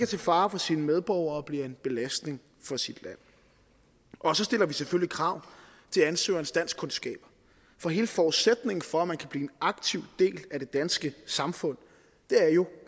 til fare for sine medborgere og bliver en belastning for sit land og så stiller vi selvfølgelig krav til ansøgerens danskkundskaber for hele forudsætningen for at man kan blive en aktiv del af det danske samfund er jo